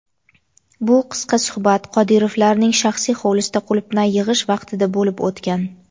Bu qisqa suhbat Qodirovlarning shaxsiy hovlisida qulupnay yig‘ish vaqtida bo‘lib o‘tgan.